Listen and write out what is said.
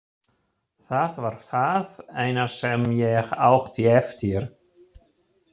Það var það eina sem ég átti eftir.